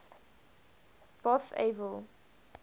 bothaville